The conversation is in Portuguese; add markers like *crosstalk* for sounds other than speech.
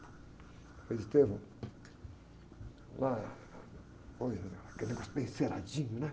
Frei, *unintelligible* olá, oi, era aquele negócio bem enceradinho, né?